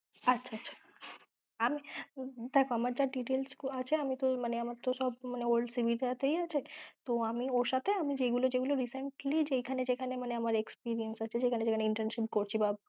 আচ্ছা আচ্ছা! আমার যা details গুলো আছে মানে সব old CV টায় আছে, তো আমি ওর সাথে যেগুলো যেগুলো recently experience বা যেখানে যেখানে internship করছি